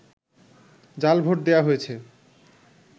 জাল ভোট দেয়া হয়েছে